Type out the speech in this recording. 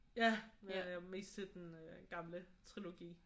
Ja men jeg er mest til den gamle trilogi